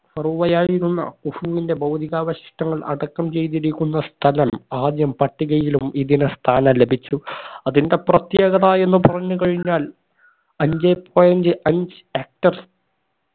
ഫറോവയായിരുന്ന കുഫുവിന്റെ ഭൗതികാവശിഷ്ടങ്ങൾ അടക്കം ചെയ്തിരിക്കുന്ന സ്ഥലം ആദ്യം പട്ടികയിലും ഇതിന് സ്ഥാനം ലഭിച്ചു അതിന്റെ പ്രത്യേകത എന്ന് പറഞ്ഞു കഴിഞ്ഞാൽ അഞ്ചേ point അഞ്ച്‌ hectar